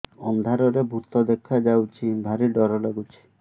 ଅନ୍ଧାରରେ ଭୂତ ଦେଖା ଯାଉଛି ଭାରି ଡର ଡର ଲଗୁଛି